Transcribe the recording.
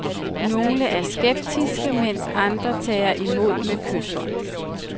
Nogle er skeptiske, mens andre tager imod med kyshånd.